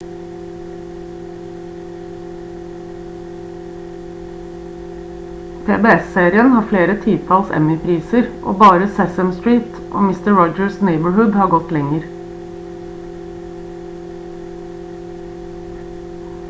pbs-serien har flere titalls emmy-priser og bare sesame street og mister rogers' neighborhood har gått lenger